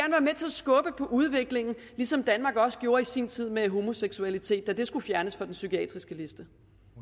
skubbe på udviklingen ligesom danmark også gjorde i sin tid med homoseksualitet da det skulle fjernes fra den psykiatriske liste